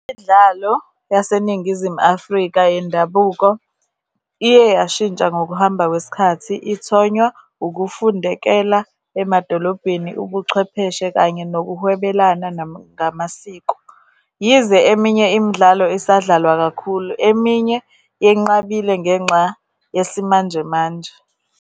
Imidlalo yaseNingizimu Afrika yendabuko, iye yashintsha ngokuhamba kwesikhathi, ithonywa ukufundekela emadolobheni, ubuchwepheshe, kanye nokuhwebelana ngamasiko. Yize eminye imidlalo isadlalwa kakhulu, eminye yenqabile ngenxa yesimanjemanje.